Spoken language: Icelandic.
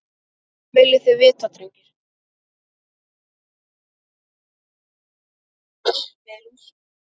Hvað viljið þið vita drengir?